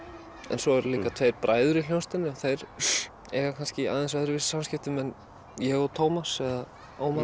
en svo eru líka tveir bræður í hljómsveitinni og þeir eiga kannski í aðeins öðruvísi samskiptum ég og Tómas eða Ómar